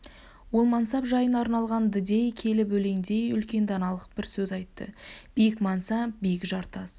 ол мансап жайына арналған-ды дей келіп өлендей үлкен даналық бар сөз айтты биік мансап биік жартас